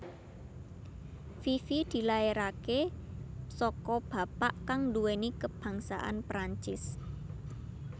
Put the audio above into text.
Fifi dilairaké saka bapak kang nduwèni kebangsaan Perancis